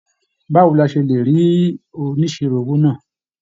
Báwo ni a ṣe lè rí oníṣirò owó náà?